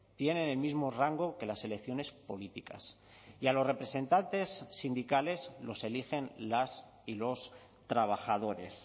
tienen el mismo rango que las elecciones políticas y a los representantes sindicales los eligen las y los trabajadores